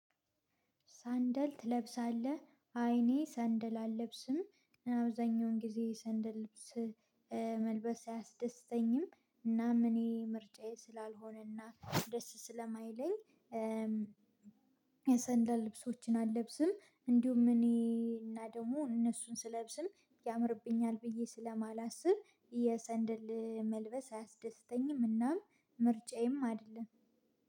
ሰንደል ትለብሳለህ አይ እኔ ሰንደል አለብስም አብዛኛውን ጊዜ ሰንደል። መልበስ አያስደስተኝም እናም እኔ ምርጫዬ ስላልሆነና ደስ ስለማይለኝ የሰንደል ልብሶችን አልለብስም። እንዲሁም እኔ እና ደግሞ እነሱን ስለብስም ያምርብኛል ብዬ ስለማላስብ የሰንደል መልበስ አያስደስተኝም። እናም ምርጫዬም አይደለም።